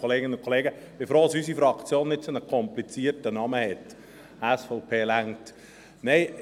Ich bin froh, dass unsere Fraktion nicht einen so komplizierten Namen hat, SVP reicht.